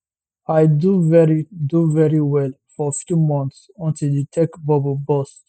i do very do very well for few months until di tech bubble burst